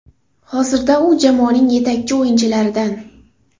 Hozirda u jamoaning yetakchi o‘yinchilaridan.